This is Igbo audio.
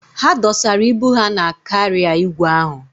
Ha dọsara ibu ha na kaarịa igwe ahụ.